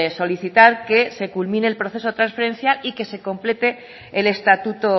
solicitar que se culmine el proceso de transferencia y que se complete el estatuto